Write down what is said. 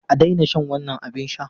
A daina shan wannan abin sha!